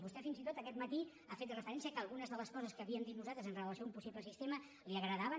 vostè fins i tot aquest matí ha fet referència que algunes de les coses que havíem dit nosaltres amb relació a un possible sistema li agradaven